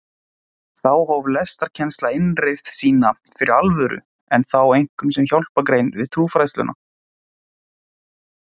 Þá hóf lestrarkennsla innreið sína fyrir alvöru en þá einkum sem hjálpargrein við trúfræðsluna.